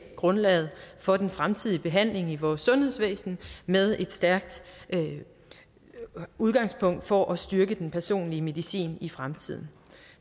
grundlaget for den fremtidige behandling i vores sundhedsvæsen med et stærkt udgangspunkt for at styrke den personlige medicin i fremtiden